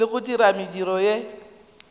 le go dira mediro ye